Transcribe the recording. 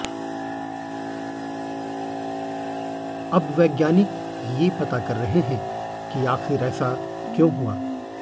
अब वैज्ञानिक ये पता कर रहे हैं कि आखिर ऐसा क्यों हुआ